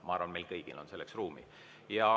Ma arvan, et meil kõigil on selleks ruumi.